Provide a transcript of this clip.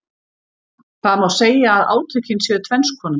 Það má segja að átökin séu tvenns konar.